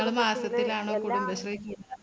ഒരു മാസത്തിലാണോ കുടുംബശ്രീ കൂ